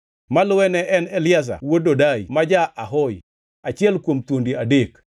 Maluwe ne en Eliazar wuod Dodai ma ja-Ahohi, achiel kuom thuondi adek.